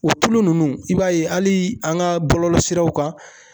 O tulu nunnu i b'a ye hali an ka bɔlɔlɔ siraw kan